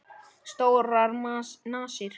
Stórar nasir.